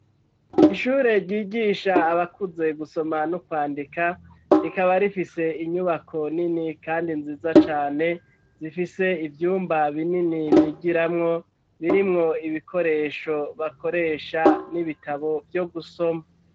Ishure ryigisha abakuze gusoma no kwandika rikaba rifise inyubako nini kandi nziza cane zifise ivyumba binini bigiramwo birimwo ibikoresho bakoresha n'ibitabo vyo gusoma.